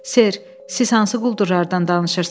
Ser, siz hansı quldurlardan danışırsınız?